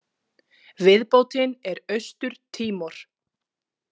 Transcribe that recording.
Viðbótin er Austur-Tímor.